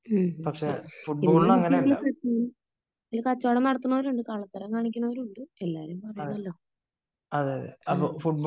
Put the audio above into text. ഹ്ം ഹ്ം ഇതില് എനിക്ക് തോന്നുന്നു കച്ചോടം നടത്തുന്നവര് ഉണ്ട് കള്ളത്തരം കാണിക്കുന്നവരുണ്ട് . എല്ലാരും പറയണല്ലോ